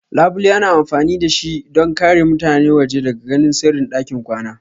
Labule ana amfani da shi don ƙare mutane waje daga ganin sirrin ɗakin kwana.